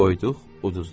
Qoyduq, uduzduq.